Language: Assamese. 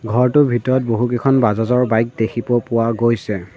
ঘৰটোৰ ভিতৰত বহুকিখন বাজাজ ৰ বাইক দেখিব পোৱা গৈছে।